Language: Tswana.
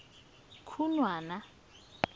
khunwana